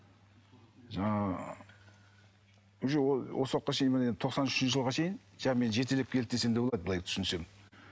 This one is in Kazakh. жаңа уже ол осы уақытқа шейін міне тоқсан үшінші жылға шейін мені жетелеп келді десем де болады былай түсінсем